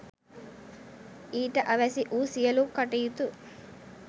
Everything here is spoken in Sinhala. ඊට අවැසි වූ සියලු කටයුතු